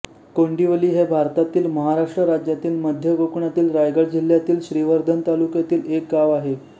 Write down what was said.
कोंडिवली हे भारतातील महाराष्ट्र राज्यातील मध्य कोकणातील रायगड जिल्ह्यातील श्रीवर्धन तालुक्यातील एक गाव आहे